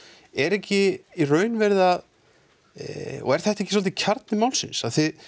er ekki í raun verið að er þetta ekki svolítið kjarni málsins